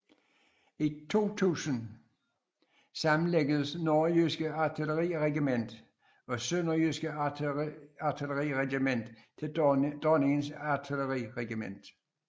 I 2000 sammenlægges Nørrejyske Artilleriregiment og Sønderjyske Artilleriregiment til Dronningens Artilleriregiment